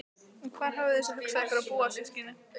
Og hvar hafið þið svo hugsað ykkur að búa systkinin?